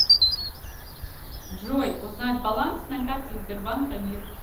джой узнать баланс на карте сбербанка мир